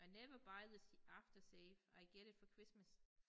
I never buy this the aftershave I get it for Christmas